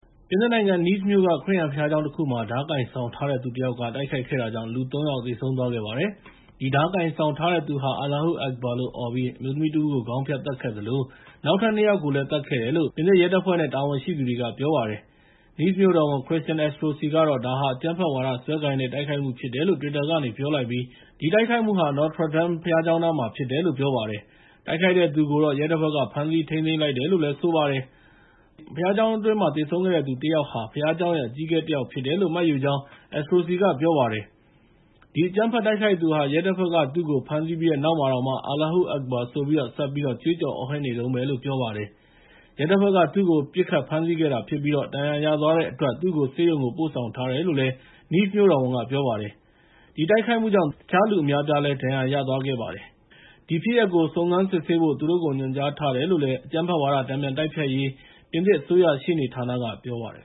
ပြင်သစ်နိုင်ငံ Nice မြို့က ခရစ်ယာန်ဘုရားကျောင်း တခုမှာ ဓားကိုင်ဆောင်ထားတဲ့သူတစ်ယောက်က တိုက်ခိုက်ခဲ့တာကြောင့် လူ ၃ ယောက်သေဆုံးသွားခဲ့ပါတယ်။ အဲဒီဓားကိုင်ဆောင်ထားတဲ့သူဟာ “Allahu Akbar လို့အော်ပြီး အမျိုးသမီးတဦးကို ခေါင်းဖြတ်သတ်ခဲ့သလို နောက်ထပ် နှစ် ယောက်ကိုလည်း သတ်ခဲ့တယ်။" လို့ ပြင်သစ်ရဲတပ်ဖွဲ့နဲ့ တာဝန်ရှိသူတွေက ပြောပါတယ်။ Nice မြို့တော်ဝန် Christian Estrosi ကတော့ ဒါဟာ အကြမ်းဖက်ဝါဒစွဲကိုင်တဲ့ တိုက်ခိုက်မှုဖြစ်တယ်လို့ Twitter ကနေ ပြောလိုက်ပြီး ဒီတိုက်ခိုက်မှုဟာ Notre Dame ဘုရားကျောင်းနားမှာ ဖြစ်တယ်လို့ ပြောပါတယ်။ တိုက်ခိုက်တဲ့သူကိုတော့ ရဲတပ်ဖွဲ့က ဖမ်းဆီးထိန်းသိမ်းလိုက်တယ်လို့ ပြောပါတယ်။ ဘုရားကျောင်းအတွင်းမှာ သေဆုံးခဲ့တဲ့သူတစ်ယောက်ဟာ ဘုရားကျောင်းရဲ့ အကြီးအကဲတစ်ယောက်ဖြစ်တယ်လို့ မှတ်ယူကြောင်း Estrosi က ပြောပါတယ်။ အဲဒီ အကြမ်းဖက်တိုက်ခိုက်သူဟာ ရဲတပ်ဖွဲ့က သူ့ကို ဖမ်းဆီးပြီးတဲ့နောက်မှာတောင် Allahu Akabar ဆိုပြီး ဆက်ပြီးတော့ ကြွေးကြော်အော်ဟစ်နေတုန်းပဲလို့ ပြောပါတယ်။ ရဲတပ်ဖွဲ့က သူ့ကို ပစ်ခတ်ဖမ်းဆီးခဲ့တာဖြစ်ပြီး ဒဏ်ရာရသွားတဲ့အတွက် သူ့ကို ဆေးရုံကို ပို့ဆောင်ထားတယ်လို့ Nice မြို့တော်ဝန်က ပြောပါတယ်။ ဒီတိုက်ခိုက်မှုကြောင့် ၃ ယောက် သေဆုံးခဲ့ပြီး တခြားလူအများအပြားလည်း ဒဏ်ရာရသွားခဲ့တယ်လို့ ပြောပါတယ်။ ဒီဖြစ်ရပ်ကို စုံစမ်းစစ်ဆေးဖို့ သူတို့ကိုညွှန်ကြားထားတယ်လို့ အကြမ်းဖက်ဝါဒ တန်ပြန်တိုက်ဖျက်ရေး ပြင်သစ်အစိုးရရှေ့နေဌာနက ပြောပါတယ်